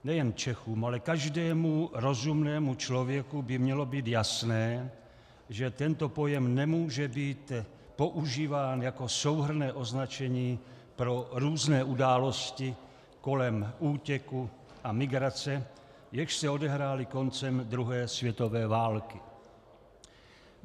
Nejen Čechům, ale každému rozumnému člověku by mělo být jasné, že tento pojem nemůže být používán jako souhrnné označení pro různé události kolem útěku a migrace, jež se odehrály koncem druhé světové války.